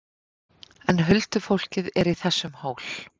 En huldufólkið er í þessum hól!